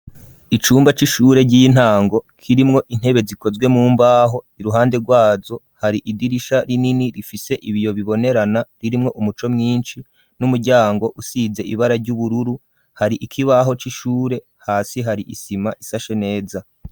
Icumba c'ishure, ry'intango, kirimwo intebe, zikozwe mumbaho; iruhande rwazo, hari idirisha rinini, rifise ibiyo bibonerana, ririmwo umuco mwinshi, n'umuryango, usize ibara ry'ubururu; hari ikibaho c'ishure, hasi hari isima, isashe neza.